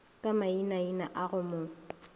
ka mainaina a go mo